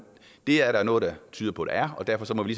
det er der noget der tyder på der er og derfor må vi